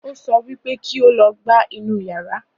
Ó sọ wípé kí ó lọ gbá inú yara